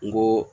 N go